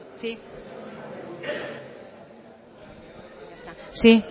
sí sí